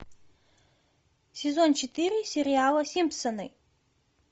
сезон четыре сериала симпсоны